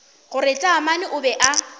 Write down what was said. gore taamane o be a